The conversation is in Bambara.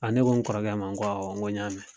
ne ko n kɔrɔkɛ ma n ko awɔ n ko n y'a mɛn.